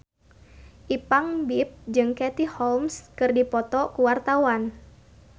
Ipank BIP jeung Katie Holmes keur dipoto ku wartawan